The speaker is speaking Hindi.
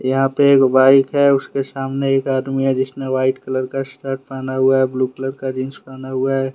यहां पे एक बाइक है। उसके सामने एक आदमी है। जिसने व्हाइट कलर का शर्ट पहना हुआ है। ब्लू कलर का जींस पहना हुआ है।